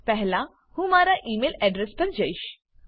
પહેલા હું મારા ઇ મેઈલ એડ્રેસ પર જઈશ